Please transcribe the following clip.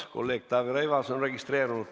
Kolleeg Taavi Rõivas on registreerunud.